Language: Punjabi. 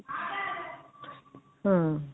ਹਮ